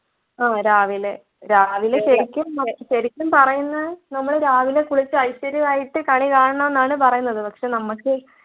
ആഹ് രാവിലെ രാവിലെ ശരിക്കും ശരിക്കും പറയുന്നത് നമ്മള് രാവിലെ കുളിച്ച് ഐശ്വര്യമായിട്ട് കണി കാണണം ന്നാണ് പറയുന്നത് പക്ഷെ നമ്മക്ക്